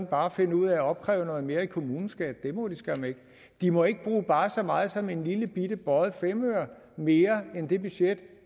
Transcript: bare finde ud af at opkræve noget mere i kommuneskat det må de skam ikke de må ikke bruge bare så meget som en lillebitte bøjet femøre mere end det budget